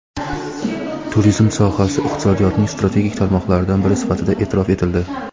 turizm sohasi iqtisodiyotning strategik tarmoqlaridan biri sifatida eʼtirof etildi.